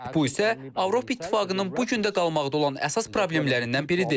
Bu isə Avropa İttifaqının bu gün də qalmaqda olan əsas problemlərindən biridir.